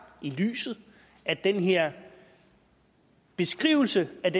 i lyset og at den her beskrivelse af